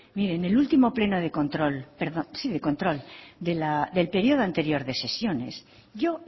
mire en el último pleno de control del periodo anterior de sesiones yo